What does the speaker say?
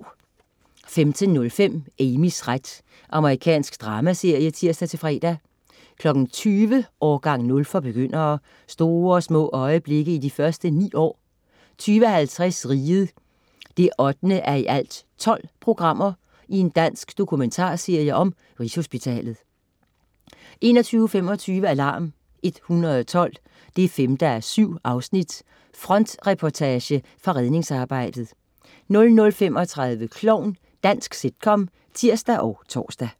15.05 Amys ret. Amerikansk dramaserie (tirs-fre) 20.00 Årgang 0 for begyndere. Store og små øjeblikke i de første ni år 20.50 Riget 8:12. Dansk dokumentarserie om Rigshospitalet 21.25 Alarm 112 5:7. Frontreportage fra redningsarbejdet 00.35 Klovn. Dansk sitcom (tirs og tors)